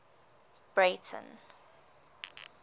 breyten